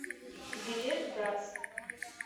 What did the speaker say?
билет газ